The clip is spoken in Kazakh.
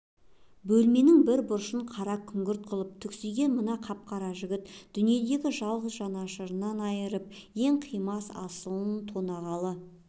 бөлменің бір бұрышын қара күңгірт қылып түксиген мына қап-қара жігіт дүниедегі жалғыз жанашырынан айырып ең қимас асылын тонағалы